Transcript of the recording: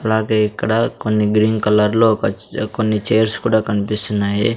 అలాగే ఇక్కడ కొన్ని గ్రీన్ కలర్ లో ఒక కొన్ని చేర్స్ కూడా కన్పిస్తున్నాయి.